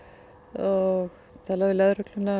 og tala við lögregluna